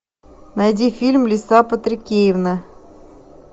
найди фильм лиса патрикеевна